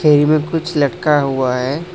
यहीं में कुछ लटका हुआ है।